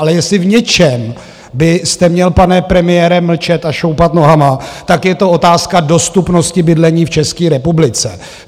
Ale jestli v něčem byste měl, pane premiére, mlčet a šoupat nohama, tak je to otázka dostupnosti bydlení v České republice.